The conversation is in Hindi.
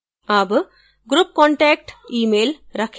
अब group contact email रखें